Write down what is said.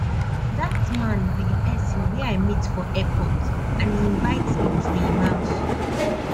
dat man be the person wey i meet for airport and he invite me to im house